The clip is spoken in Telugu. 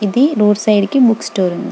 ఇది రోడ్ సైడ్ కి బుక్ స్టోర్ ఉంది .